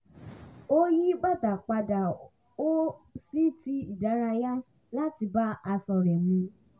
ó yí bàtà padà sí ti ìdárayá láti bá aṣọ rẹ̀ mu